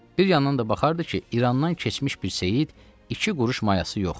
Bir yandan da baxırdı ki, İrandan keçmiş bir seyid iki quruş mayası yox.